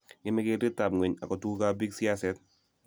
ngeme keretab ngweny ago tugukab biik siaset